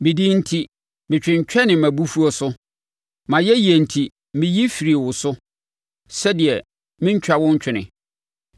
Medin enti metwentwɛne mʼabufuo so; mʼayɛyie enti meyi firii wo so, sɛdeɛ mentwa wo ntwene.